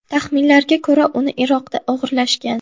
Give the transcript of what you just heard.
Taxminlarga ko‘ra, uni Iroqda o‘g‘irlashgan.